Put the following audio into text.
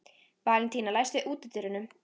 Valentína, læstu útidyrunum.